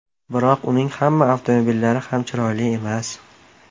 Biroq uning hamma avtomobillari ham chiroyli emas.